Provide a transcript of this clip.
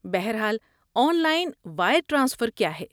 بہر حال، online wire transfer کیا ہے؟